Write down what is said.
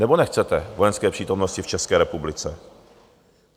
Nebo nechcete vojenské přítomnosti v České republice?